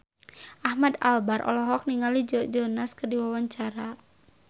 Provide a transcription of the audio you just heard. Ahmad Albar olohok ningali Joe Jonas keur diwawancara